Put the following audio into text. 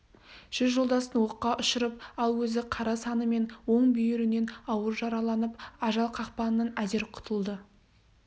жүз жолдасын оққа ұшырып ал өзі қара саны мен оң бүйірінен ауыр жараланып ажал қақпанынан әзер құтылды